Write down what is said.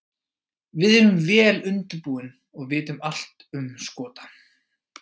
Við erum vel undirbúin og vitum allt um Skota.